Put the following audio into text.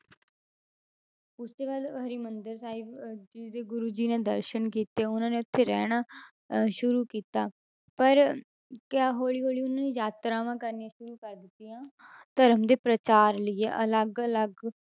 ਉਸ ਤੋਂ ਬਾਅਦ ਹਰਿਮੰਦਰ ਸਾਹਿਬ ਅਹ ਜੀ ਦੇ ਗੁਰੂ ਜੀ ਨੇ ਦਰਸਨ ਕੀਤੇ ਉਹਨਾਂ ਨੇ ਉੱਥੇ ਰਹਿਣਾ ਅਹ ਸ਼ੁਰੂ ਕੀ, ਤਾ ਪਰ ਕਿਆ ਹੌਲੀ ਹੌਲੀ ਉਹਨਾਂ ਨੇ ਯਾਤਰਾਵਾਂ ਕਰਨੀਆਂ ਸ਼ੁਰੂ ਕਰ ਦਿੱਤੀਆਂ ਧਰਮ ਦੇ ਪ੍ਰਚਾਰ ਲਈਏ ਅਲੱਗ ਅਲੱਗ,